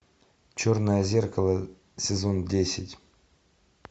черное зеркало сезон десять